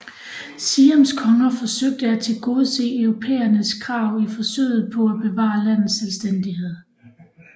Siams konger forsøgte at tilgodese europæernes krav i forsøget på at bevare landets selvstændighed